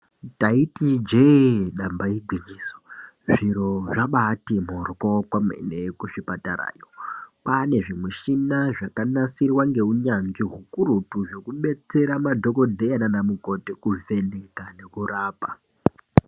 Taiti ijeee damba igwinyiso zviro zvabaati mporwo kwemene kuzvipatarayo kwaane zvimishina zvakanasirwa ngeunyanzvi hukurutu zvekudetsera madhokodheye nana mukoti kuvheneka nekurapa.